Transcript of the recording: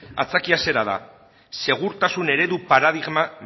aitzakia zera da segurtasun eredu paradigma